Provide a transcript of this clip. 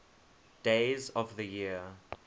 days of the year